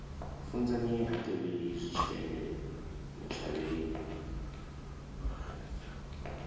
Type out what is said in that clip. funzani ha tevheli zwitshele ntshavheni